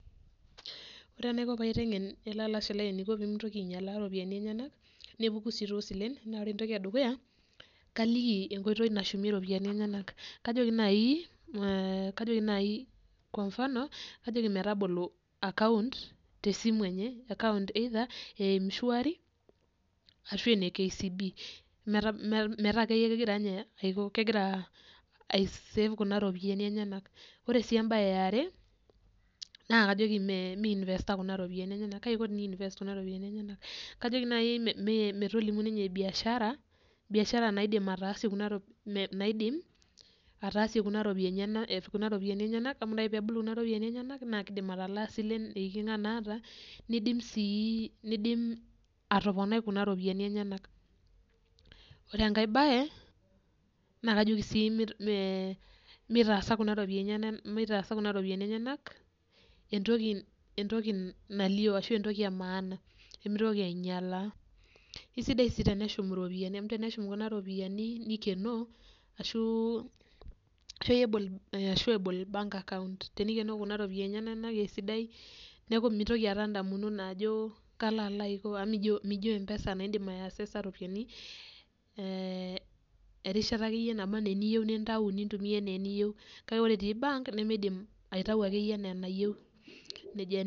Ore enaiko paiteng'en ele alashe lai pemitoki ainyalaa ropiyani enyenak nepuku tosilen, naa ore enedukuya naa kaliki enkoitoi nashumie ropiyani enyenak. Kajoki metabolo akount tesimu enye matejo ene mshwari ashu ene kcb ashu kegira aisave kuna ropiyani enyenak. Kajoki nai metolimu ninye biashara naidim ninye ataasie kuna ropiyani enyenak amu kidim atalakie silen nidim si atoponai kuna ropiyani enyenak. Ore enkae bae na kajoki mitaasa kuna ropiyani enyenak mitaasa kuja ropiyani enyenak entoki nalio kesidai si teneshum iropiyiani amu teneshum nikenoo ashu tenikenoo kuna ropiyani amu mijo empesa na indim aiaccesa ropiyani erishata akeyie nindim aitumia ana eniyieu nejia.